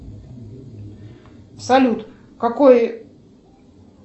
салют какой